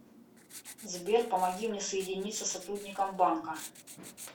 сбер помоги мне соединиться с сотрудником банка